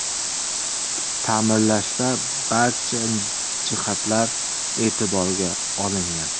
Ta’mirlashda barcha jihatlar e’tiborga olingan.